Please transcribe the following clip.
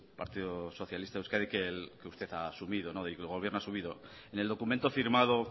partido socialista de euskadi que usted ha asumido del que el gobierno ha asumido en el documento firmado